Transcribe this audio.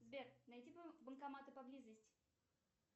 сбер найти банкоматы поблизости